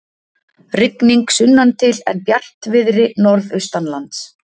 Rigning sunnantil en bjartviðri norðaustanlands